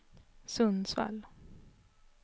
Sundsvall